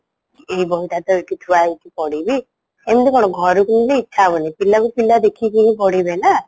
ଏଇ ବହିଟା ତ ଏଇଠି ଥୁଆ ହେଇଚି ପଢ଼ିବି ଏମିତି କ'ଣ ଘରକୁ ଗଲେ ଇଛା ହବନି ପିଲାକୁ ପିଲା ଦେଖିକି ପଢିବେନା?